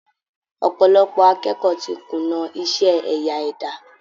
Ọ̀pọ̀lọpọ̀ akẹ́kọ̀ọ́ ti kùnà iṣẹ́ ẹ̀yà ẹ̀dá